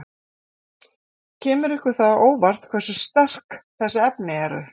Kemur það ykkur á óvart hversu sterk þessi efni eru?